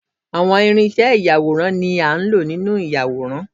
Àwọn irinṣẹ́ ìyàwòrán ni a lò nínú ìyàwòrán